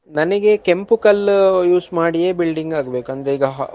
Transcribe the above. ನನಿಗೆ ಕೆಂಪು ಕಲ್ಲು use ಮಾಡಿ building ಆಗ್ಬೇಕು ಅಂದ್ರೆ ಈಗ Hal~ Hall .